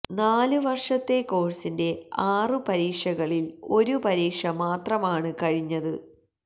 നാല് വര്ഷത്തെ കോഴ്സിന്റെ ആറു പരീക്ഷകളില് ഒരു പരീക്ഷ മാത്രമാണ് കഴിഞ്ഞത്